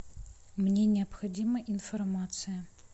мне необходима информация